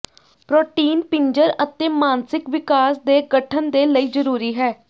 protein ਪਿੰਜਰ ਅਤੇ ਮਾਨਸਿਕ ਵਿਕਾਸ ਦੇ ਗਠਨ ਦੇ ਲਈ ਜ਼ਰੂਰੀ ਹੈ